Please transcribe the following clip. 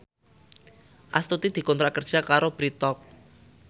Astuti dikontrak kerja karo Bread Talk